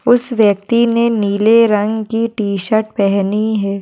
उस व्यक्ति ने नीले रंग की टीशर्ट पहनी है।